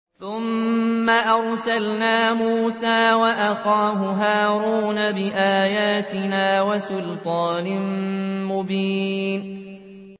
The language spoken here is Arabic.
ثُمَّ أَرْسَلْنَا مُوسَىٰ وَأَخَاهُ هَارُونَ بِآيَاتِنَا وَسُلْطَانٍ مُّبِينٍ